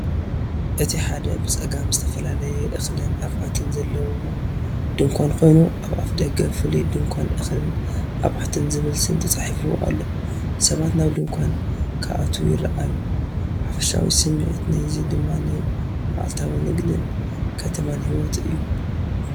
እቲ ሓደ፡ ብጸጋም፡ ዝተፈላለየ እኽልን ኣቑሑትን ዘለዎ ድኳን ኮይኑ፡ ኣብ ኣፍደገ "ፍሉይ ድኳን እኽልን ኣቑሑትን" ዝብል ስም ተጻሒፉ ኣሎ። ሰባት ናብ ድኳናት ክኣትዉ ይረኣዩ፡ ሓፈሻዊ ስሚዒት ናይዚ ድማ ናይ መዓልታዊ ንግድን ከተማን ህይወት እዩ።